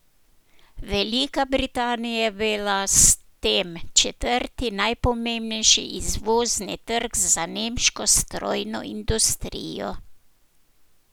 Velika Britanija je bila s tem četrti najpomembnejši izvozni trg za nemško strojno industrijo.